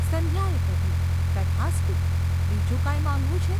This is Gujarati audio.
’ સંધ્યાએ કહ્યું. ‘તથાસ્તુ ! બીજું કાંઈ માંગવું છે?